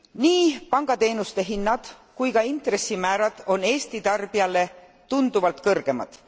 Nii pangateenuste hinnad kui ka intressimäärad on Eesti tarbijale tunduvalt kõrgemad.